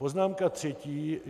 Poznámka třetí.